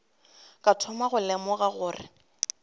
ka thoma go lemoga gore